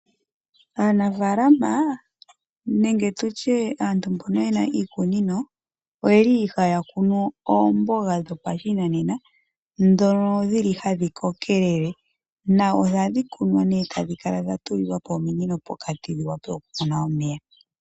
Aanafaalama nenge tutye aantu mbono yena iikunino oyeli haya kunu oomboga dho pashinanena dhono dhili hadhi kokelele. Na ohadhi kunwa tadhi kala dha tulilwapo ominino pokati dhi wape oku mona omeya.